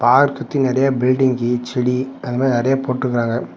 Park சுத்தி நறையா building செடி அது மாரி நறையா போட்ருக்கறாங்க.